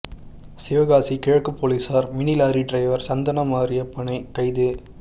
சிவகாசி கிழக்கு போலீசார் mini lorry driver சந்தனமாரியப்பனை கைது